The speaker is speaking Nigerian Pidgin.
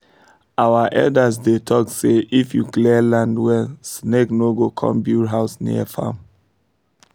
our elders dey talk say if you clear land well snake no go come build house near farm